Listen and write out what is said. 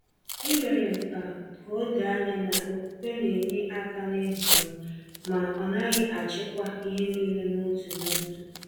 E mere m ka ka o doo anya na okwukwe na-enye aka n’ịhọrọ m, ma ọ naghị achịkwa ihe niile n’otu n’otu.